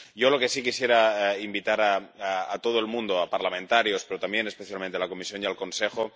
Yo lo que sí quisiera es invitar a todo el mundo, a parlamentarios, pero también especialmente a la Comisión y al Consejo...